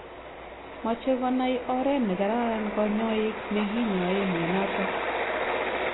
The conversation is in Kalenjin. Mache konai oreet nekararan kanyaik nekinyae mionatok